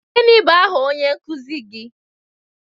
Gịnị bụ aha onye nkuzi gị?